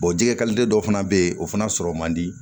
jɛgɛ dɔ fana bɛ yen o fana sɔrɔ man di